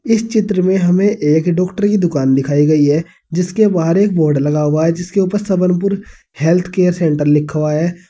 इस चित्र में हमें एक डाक्टरी की दुकान दिखाई गयी है जिसके बाहर एक बोर्ड लगा हुआ है जिसके उपर सबनुर हेल्थ केयर सेंटर लिखा हुआ है।